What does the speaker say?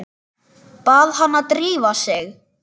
Bað hana að drífa sig.